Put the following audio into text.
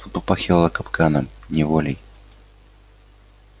тут попахивало капканом неволей